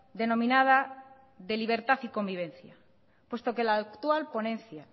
denominada de libertad y convivencia puesto que la actual ponencia